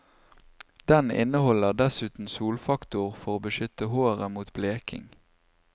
Den inneholder dessuten solfaktor for å beskytte håret mot bleking.